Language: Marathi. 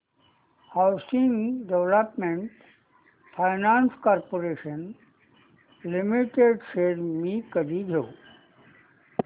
housing development finance corporation limited shares मी कधी घेऊ